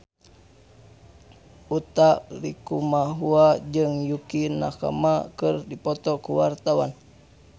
Utha Likumahua jeung Yukie Nakama keur dipoto ku wartawan